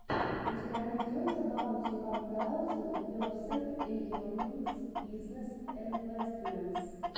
у тебя найдется баунти уан таузенд персент эернингс бизнесс инвэстментс